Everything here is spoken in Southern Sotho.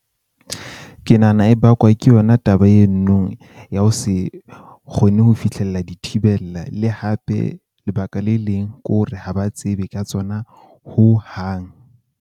Ke nahana e bakwa ke yona taba eno no ya ho se kgone ho fihlella dithibella. Le hape lebaka le leng ke hore ha ba tsebe ka tsona hohang.